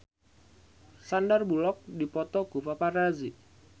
Sandar Bullock dipoto ku paparazi